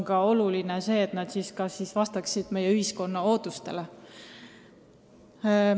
Kuid oluline on ka see, et nende dividendide kasutamine vastaks meie ühiskonna ootustele.